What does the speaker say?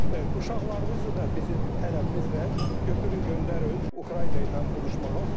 Uşaqlarınızı da bizim tələbimizlə götürün göndərin Ukrayna ilə vuruşmağa.